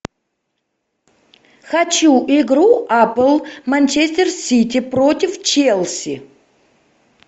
хочу игру апл манчестер сити против челси